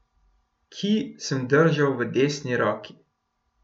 Kij sem držal v desni roki.